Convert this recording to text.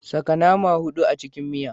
Saka nama hudu a cikin miya